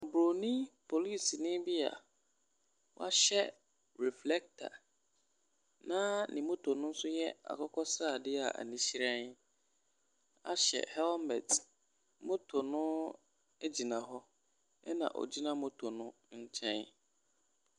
Bronin polisini bi a wahyɛ reflector na ne moto nso yɛ akokɔsradeɛ a ani hyerɛn ahyɛ helmet. Moto no gyina hɔ, na ogyina moto no nkyɛn.